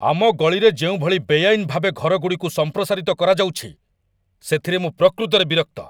ଆମ ଗଳିରେ ଯେଉଁଭଳି ବେଆଇନ ଭାବେ ଘରଗୁଡ଼ିକୁ ସମ୍ପ୍ରସାରିତ କରାଯାଉଛି, ସେଥିରେ ମୁଁ ପ୍ରକୃତରେ ବିରକ୍ତ।